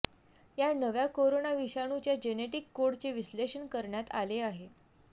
या नव्या कोरोना विषाणूच्या जेनेटिक कोडचे विश्लेषण करण्यात आले आहे